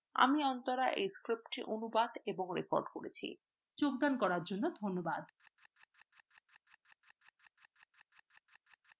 আমি অন্তরা এই স্ক্রিপ্টটিঅনুবাদ এবং রেকর্ড করেছি দেখার জন্য ধন্যবাদ